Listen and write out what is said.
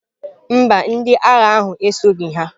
Mba, ndị agha ahụ esoghị ha.